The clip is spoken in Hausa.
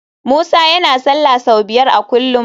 Musa yana sallah sau biyar a kullum